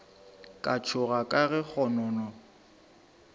ka tšhoga ka ge kgonono